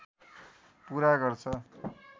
पुरा गर्छ